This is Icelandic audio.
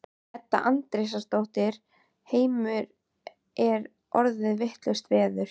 Edda Andrésdóttir: Heimir er orðið vitlaust veður?